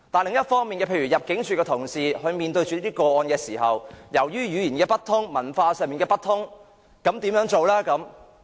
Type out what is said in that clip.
另一方面，入境事務處同事在面對這些個案時，由於語言不通、文化不通，他們又該怎辦呢？